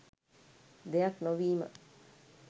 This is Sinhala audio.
දෙයක් නොවීම.